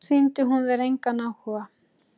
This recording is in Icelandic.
Sýndi hún þér engan áhuga?